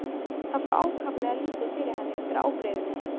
Það fór ákaflega lítið fyrir henni undir ábreiðunni.